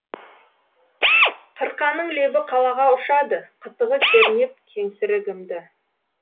қырқаның лебі қалаға ұшады қытығы кернеп кеңсірігімді